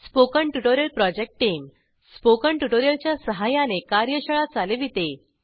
spoken tutorial project टीमSpoken tutorial च्या सहाय्याने कार्यशाळा चालविते